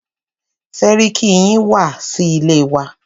Sẹ́ríkí yín wá sí ilé wa.